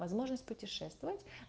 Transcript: возможность путешествовать